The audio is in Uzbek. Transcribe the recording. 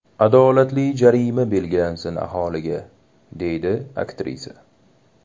Adolatli jarima belgilansin aholiga”, deydi aktrisa.